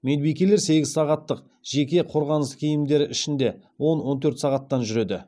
медбикелер сегіз сағаттық жеке қорғаныс киімдері ішінде он он төрт сағаттан жүреді